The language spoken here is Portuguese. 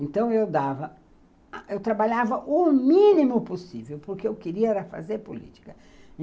Então eu dava, eu trabalhava o mínimo possível, porque o que eu queria era fazer política.